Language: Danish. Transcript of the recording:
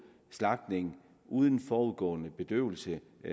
slagtning uden forudgående bedøvelse